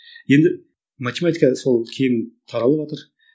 енді математика сол кең таралыватыр